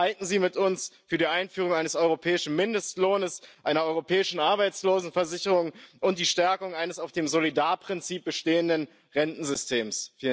Streiten Sie mit uns für die Einführung eines europäischen Mindestlohns, einer europäischen Arbeitslosenversicherung und die Stärkung eines auf dem Solidarprinzip beruhenden Rentensystems.